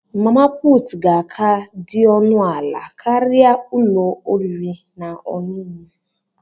Mama puutu ga-aka dị ọnụ ala karịa ụlọ oriri na ọṅụṅụ.